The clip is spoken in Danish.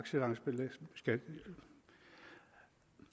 af